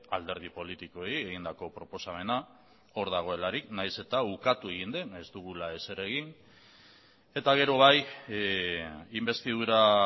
alderdi politikoei egindako proposamena hor dagoelarik nahiz eta ukatu egin den ez dugula ezer egin eta gero bai inbestidura